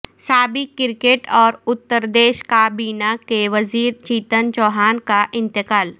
سابق کرکٹ اور اتردیش کابینہ کے وزیر چیتن چوہان کا انتقال